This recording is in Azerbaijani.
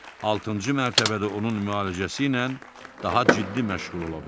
altıncı mərtəbədə onun müalicəsi ilə daha ciddi məşğul ola bilərlər.